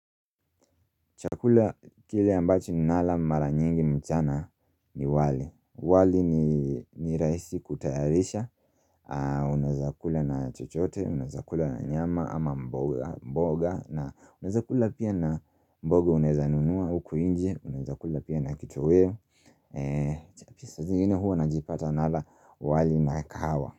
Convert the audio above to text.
Chakula kile ambacho ninala mara nyingi mchana ni wali wali ni rahisi kutayarisha Unaweza kula na chochote, unaweza kula na nyama ama mboga na unaweza kula pia na mboga unaezanunua huku nje, unaweza kula pia na kitoeo ju saa zingine huwa najipata nala wali na kahawa.